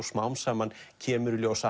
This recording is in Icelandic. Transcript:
smám saman kemur í ljós að